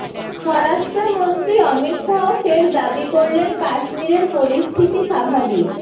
স্বরাষ্ট্রমন্ত্রী অমিত শাহ ফের দাবি করলেন কাশ্মীরের পরিস্থিতি স্বাভাবিক